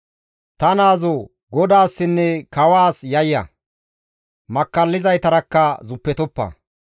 Ta naazoo! GODAASSINNE kawaas yayya; makkallizaytarakka zuppetoppa.